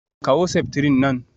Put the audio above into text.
Kawo septrin nan